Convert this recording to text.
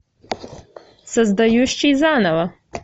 создающий заново